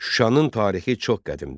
Şuşanın tarixi çox qədimdir.